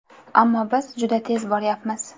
Ammo biz juda tez boryapmiz.